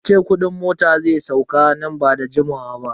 An ce kudin mota zai sauka nan ba da jimawa ba.